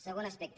segon aspecte